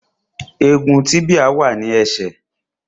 Egun tíbíà wà ní ẹsẹ̀